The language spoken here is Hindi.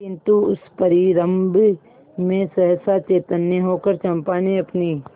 किंतु उस परिरंभ में सहसा चैतन्य होकर चंपा ने अपनी